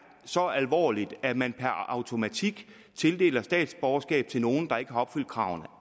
så alvorligt at man per automatik tildeler statsborgerskab til nogle der ikke har opfyldt kravene